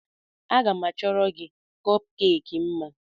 Aga m achọrọ gị kọpkeeki mma.